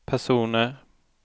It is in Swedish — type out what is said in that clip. personer